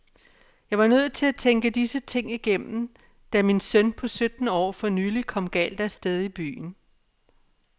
Jeg var nødt til at tænke disse ting igennem, da min søn på sytten år for nylig kom galt af sted i byen.